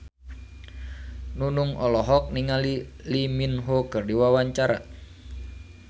Nunung olohok ningali Lee Min Ho keur diwawancara